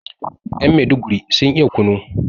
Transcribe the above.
yan meduguri sun iya kunu